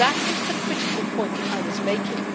That was the critical point that I was making.